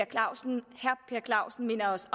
clausen minder os